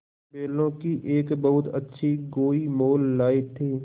बैलों की एक बहुत अच्छी गोई मोल लाये थे